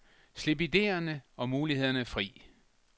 Slip idéerne og mulighederne fri.